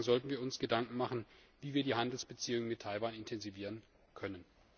diesem Zusammenhang sollten wir uns Gedanken machen, wie wir die Handelsbeziehungen mit Taiwan intensivieren können.